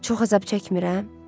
Çox əzab çəkmirəm?